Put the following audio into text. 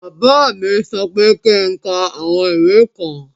Bàbá mí sọ pé kí ń ká àwọn ìwé kan.